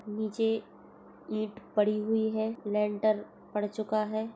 नीचे ईंट पड़ी हुई है लेंटर पड़ चूका है।